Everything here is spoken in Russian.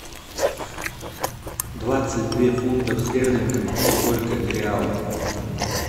двадцать две фунтов стерлингов сколько реалов